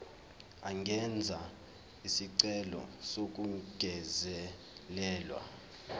angenza isicelo sokungezelelwa